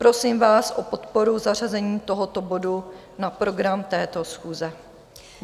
Prosím vás o podporu zařazení tohoto bodu na program této schůze.